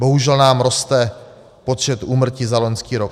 Bohužel nám roste počet úmrtí za loňský rok.